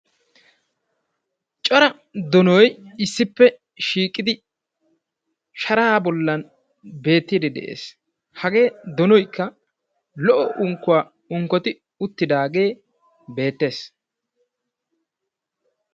Cora donoy issippe shiiqidi sharaa bollan beettide de'ees. Hagee donoykka lo"o unkkuwaa unkkoti uttidaage beettees.